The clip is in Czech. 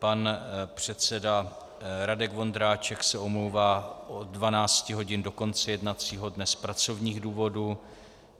Pan předseda Radek Vondráček se omlouvá od 12 hodin do konce jednacího dne z pracovních důvodů.